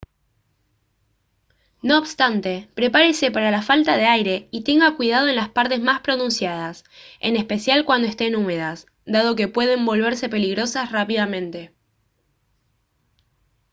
no obstante prepárese para la falta de aire y tenga cuidado en las partes más pronunciadas en especial cuando estén húmedas dado que pueden volverse peligrosas rápidamente